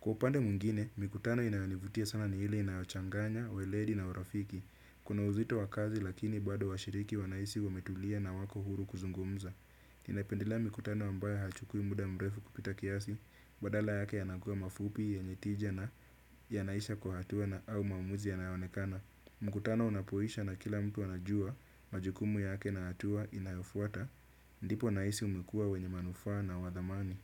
Kwa upande mwingine mikutano inayonivutia sana ni ile inayochanganya, weledi na urafiki. Kuna uzito wa kazi lakini bado washiriki wanahisi wametulia na wako huru kuzungumza. Napendila mikutano ambayo hachukui muda mrefu kupita kiasi, badala yake yanakuwa mafupi yenye tija na yanaisha kwa hatua na au maamuzi yanayoonekana. Mkutano unapoisha na kila mtu anajua majukumu yake na hatua inayofuata, ndipo nahisi umekuwa wenye manufaa na wadhamani.